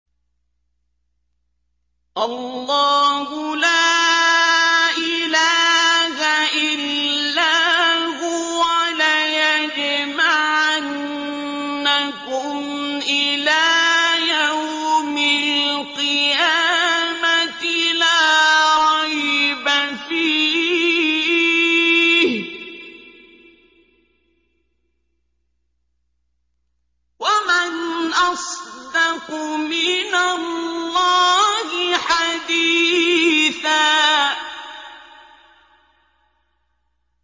اللَّهُ لَا إِلَٰهَ إِلَّا هُوَ ۚ لَيَجْمَعَنَّكُمْ إِلَىٰ يَوْمِ الْقِيَامَةِ لَا رَيْبَ فِيهِ ۗ وَمَنْ أَصْدَقُ مِنَ اللَّهِ حَدِيثًا